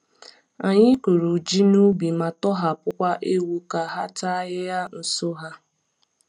Anyị kụrụ ji n’ubi ma tọhapụkwa ewu ka ha taa ahịhịa nso ya.